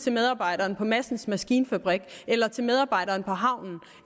til medarbejderen på madsens maskinfabrik eller til medarbejderen på havnen